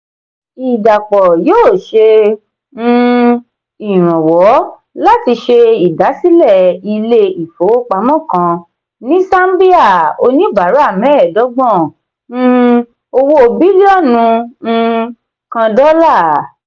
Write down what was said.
ìdàpọ̀ yóò ṣe um iranwọ láti ṣe idasilẹ ilé ifowópamọ́ kan ní sámbíà oníbàárà mẹẹdọgbọn um owó bílíọ̀nù um kan dola.